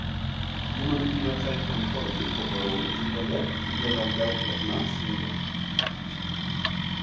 human Phenotype Ontology koporu wolutik kole itinye Landau Kleffner syndrome.